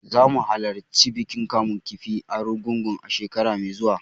Zamu halarci bikin kamun kifi na Argungu, shekara mai zuwa.